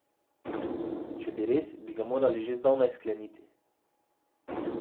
Če bi res, bi ga morali že zdavnaj skleniti.